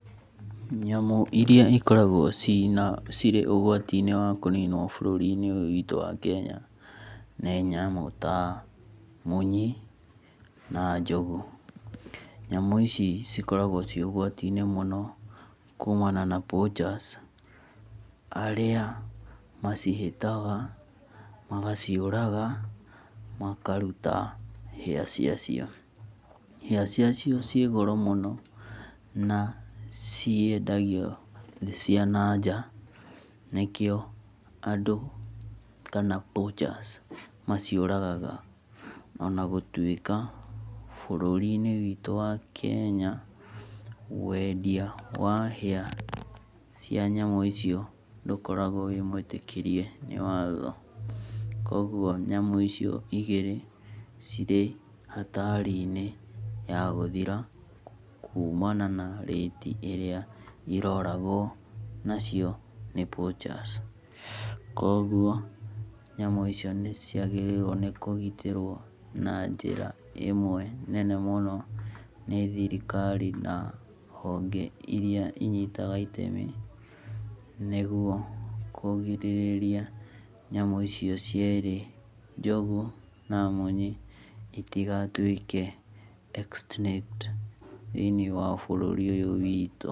Nyamũ iria ikoragwo cirĩ ũgwati~inĩ wa kũninwo bũrũri~inĩ ũyũ witũ wa Kenya ni nyamu ta munyi na njogu. Nyamu ici cikoragwo cirĩ ũgwatinĩ mũno kumana na poachers arĩa macihĩtag, magaciũraga makaruta hĩa cia cio. Hĩa ci acio ciĩ goro mũno na ciendagio thĩ cia na nja. Nĩkĩo andũ kana poachers maciũragaga. Ona gũtuĩka bũrũri~inĩ witũ wa Kenya wendia wa hĩa cia nyamu icio ndũkoragwo wi mwĩtĩkĩrie ni watho. Kogwo nyamu icio igĩrĩ cirĩ hatari~inĩ ya gũthira kumana na rate ĩria irargwo nacio nĩ poachers. Kogwo nyamũ icio nĩ ciagĩrĩrwo nĩ kũgitĩrwo na njĩra ĩmwe nene mũno nĩ thirikari na honge iria inyitaga itemi nĩguo kũgirĩrĩa nyamũ icio cierĩ, njogu na munyi itigatũĩke extinict thĩ~inĩ wa bũrũri ũyũ witũ.